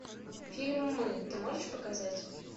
фильм мы ты можешь показать